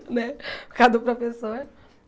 Né por causa do professor.